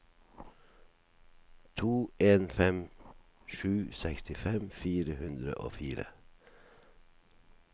to en fem sju sekstifem fire hundre og fire